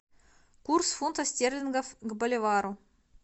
курс фунтов стерлингов к боливару